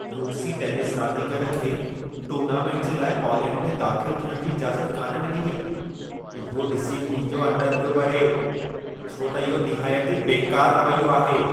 रूसी टेनिस रांदीगर खे टूर्नामेंट जे लाइ पोलैंड में दाख़िल थियण जी इजाज़त कान डि॒नी वेई, इहो ॾिसी मुंहिंजो अंदर पियो ॿरे, छो त इहो निहायती बेकार रवैयो आहे।